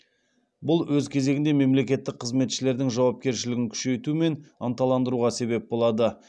бұл өз кезегінде мемлекеттік қызметшілердің жауапкершілігін күшейту мен ынталандыруға себеп болады